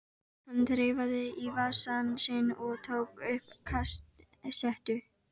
Hann þreifaði í vasann sinn og tók upp kassettu.